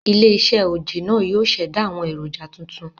Ilé -iṣẹ́ oje náà yóò ṣẹ̀dá àwọn èròjà tuntun